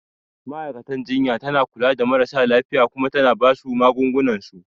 Ma'aikatan jinya tana kula da marasa lafiya Kuma tana basu magungunan su